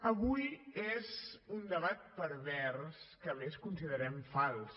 avui és un debat pervers que a més considerem fals